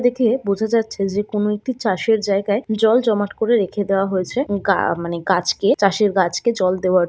দেখে বোঝা যাচ্ছে যেকোনো একটি চাষের জায়গায় জল জমাট করে রেখে দেওয়া হয়েছে। গা মানে গাছকে চাষের গাছকে জল দেওয়ার।